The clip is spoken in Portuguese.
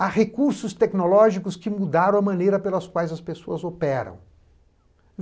Há recursos tecnológicos que mudaram a maneira pelas quais as pessoas operam.